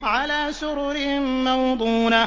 عَلَىٰ سُرُرٍ مَّوْضُونَةٍ